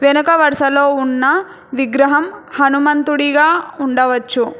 వెనక వరుసలో ఉన్న విగ్రహం హనుమంతుడిగా ఉండవచ్చు.